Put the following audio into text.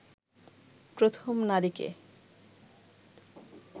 প্রথম নারীকে